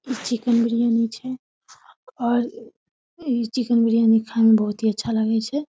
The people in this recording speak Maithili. इ चिकेन बिरयानी छै और इ चिकेन बिरयानी खाय में बहुत ही अच्छा लागे छै।